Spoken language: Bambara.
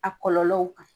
A kɔlɔlɔw kan